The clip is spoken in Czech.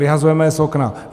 Vyhazujeme je z okna.